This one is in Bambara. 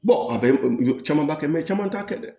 a bɛɛ caman b'a kɛ caman t'a kɛ dɛ